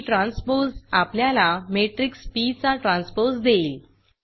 P transpose आपल्याला matrix P चा transpose देईल